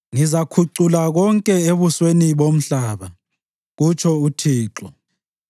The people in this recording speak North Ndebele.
“Ngizakhucula konke ebusweni bomhlaba,” kutsho uThixo.